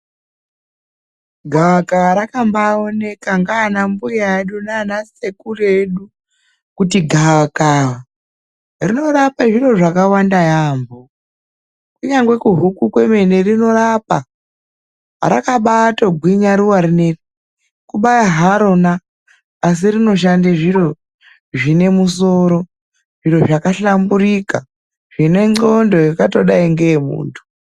Gavakava rakabaaoneka ndiana mbuya edu nana sekuru edu ,kuti gavakava rinorape zviro zvakawanda yaampho. Kunyangwe kuhuku dzemene rinorapa .Rakabaatogwinya ruwa rineri .Kubaya haro asi rinoshande zviro zvine musoro, zviro zvakahlamburika, zvine nqondo dzakadai ngedze muntu.